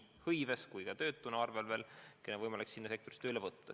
Ja on loomulikult kohalikku tööjõudu töötuna arvel, neid inimesi on võimalik sinna sektorisse tööle võtta.